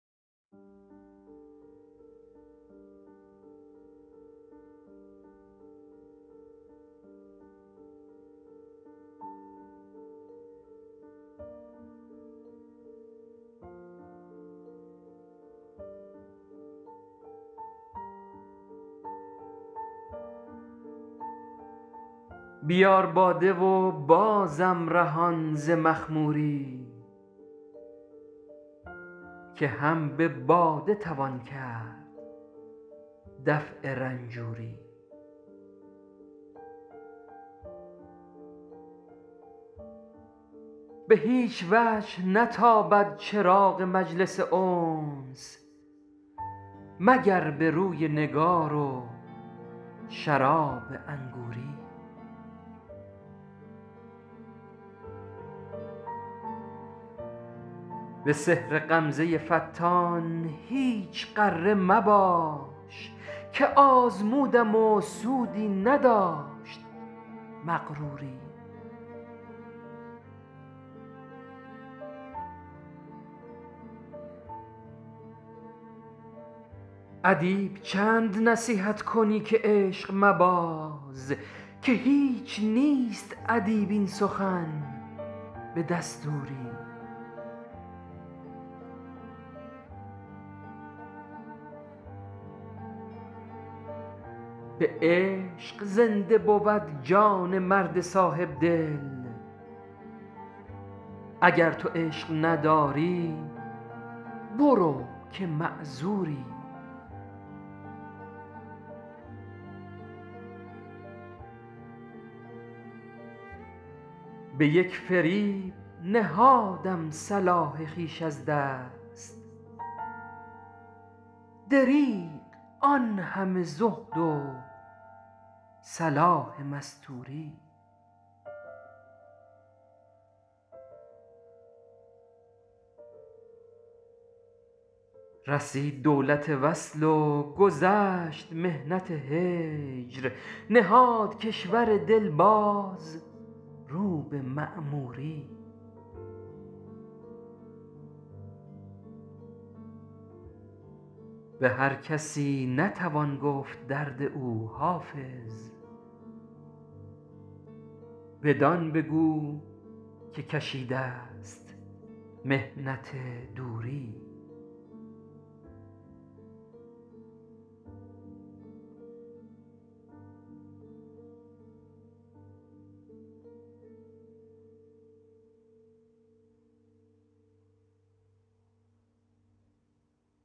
بیار باده و بازم رهان ز مخموری که هم به باده توان کرد دفع رنجوری به هیچ وجه نیابد چراغ مجلس انس مگر به روی نگار و شراب انگوری به سحر غمزه فتان هیچ غره مباش که آزمودم و سودی نداشت مغروری ادیب چند نصیحت کنی که عشق مباز که هیچ نیست ادیب این سخن به دستوری به عشق زنده بود جان مرد صاحبدل اگر تو عشق نداری برو که معذوری به یک فریب نهادم صلاح خویش از دست دریغ آن همه زهد و صلاح مستوری رسید دولت وصل و گذشت محنت هجر نهاد کشور دل باز رو به معموری به هر کسی نتوان گفت درد او حافظ بدان بگو که کشیده ست محنت دوری